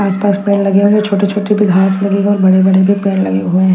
आस पास पेड़ लगे हुए है छोटे छोटे भी घास भी लगी व बड़े बड़े भी पेड़ लगे हुए हैं।